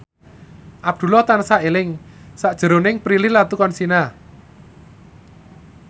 Abdullah tansah eling sakjroning Prilly Latuconsina